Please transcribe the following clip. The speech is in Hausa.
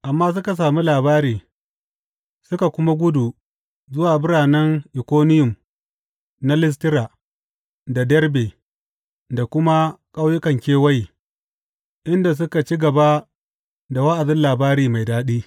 Amma suka sami labari suka kuma gudu zuwa biranen Ikoniyum na Listira da Derbe da kuma ƙauyukan kewaye, inda suka ci gaba da wa’azin labari mai daɗi.